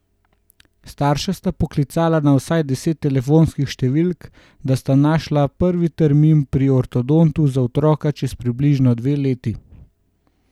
Starša sta poklicala na vsaj deset telefonskih številk, da sta našla prvi termin pri ortodontu za otroka čez približno dve leti.